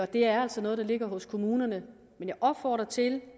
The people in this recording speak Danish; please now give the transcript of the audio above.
det er altså noget der ligger hos kommunerne men jeg opfordrer til